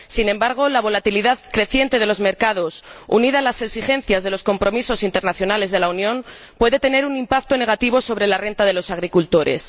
Sin embargo, la volatilidad creciente de los mercados, unida a las exigencias de los compromisos internacionales de la Unión, puede tener un impacto negativo sobre la renta de los agricultores.